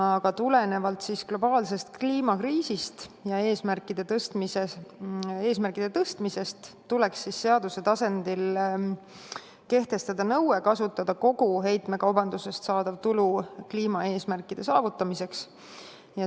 Aga tulenevalt globaalsest kliimakriisist ja eesmärkide tõstmisest, tuleks seaduse tasandil kehtestada nõue kasutada kogu heitmekaubandusest saadav tulu kliimaeesmärkide saavutamiseks.